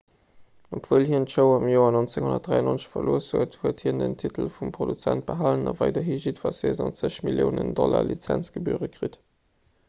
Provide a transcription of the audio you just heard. obwuel hien d'show am joer 1993 verlooss huet huet hien den titel vum produzent behalen a weiderhi jiddwer saison zeg milliounen dollar lizenzgebüre kritt